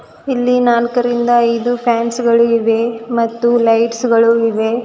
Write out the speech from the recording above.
ಇಲ್ಲಿ ನಾಲ್ಕರಿಂದ ಐದು ಪ್ಯಾನ್ಸ್ ಗಳು ಇವೆ ಮತ್ತು ಲೈಟ್ಸ್ ಗಳು ಇವೆ.